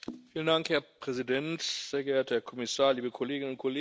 Herr Präsident, sehr geehrter Herr Kommissar, liebe Kolleginnen und Kollegen!